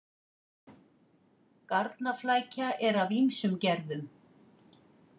Garnaflækja er af ýmsum gerðum.